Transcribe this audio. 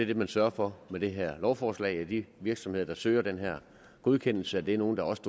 det man sørger for med det her lovforslag nemlig at de virksomheder der søger den her godkendelse er nogle der også